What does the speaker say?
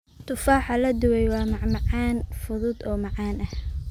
Tufaaxa la dubay waa macmacaan fudud oo macaan.